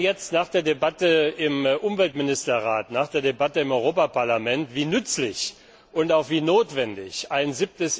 Und wir sehen jetzt, nach der Debatte im Umweltministerrat, nach der Debatte im Europaparlament, wie nützlich und auch wie notwendig ein